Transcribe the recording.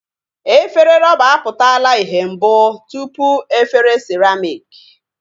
Efere rọba a pụtala ihe mbụ tụpụ efere siramịk